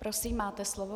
Prosím, máte slovo.